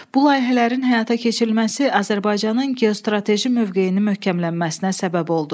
Bu layihələrin həyata keçirilməsi Azərbaycanın geostrateji mövqeyinin möhkəmlənməsinə səbəb oldu.